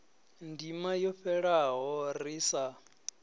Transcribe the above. ndima yo fhelaho ri sa